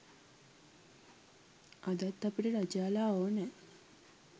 අදත් අපිට රජාලා ඕනෑ